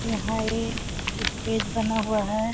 यहां एक स्टेज बना हुआ है।